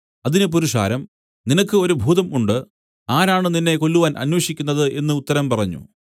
അതിന് പുരുഷാരം നിനക്ക് ഒരു ഭൂതം ഉണ്ട് ആരാണ് നിന്നെ കൊല്ലുവാൻ അന്വേഷിക്കുന്നത് എന്നു ഉത്തരം പറഞ്ഞു